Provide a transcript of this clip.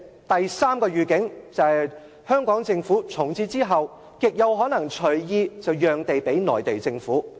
第三個預警，就是香港政府從此之後極有可能隨意讓地給內地政府。